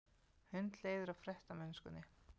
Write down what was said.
Hundleiðir á ferðamennskunni